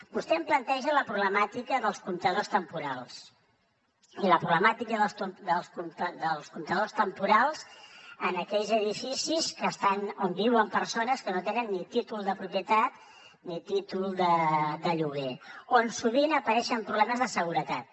vostè em planteja la problemàtica dels comptadors temporals i la problemàtica dels comptadors temporals en aquells edificis on viuen persones que no tenen ni títol de propietat ni títol de lloguer on sovint apareixen problemes de seguretat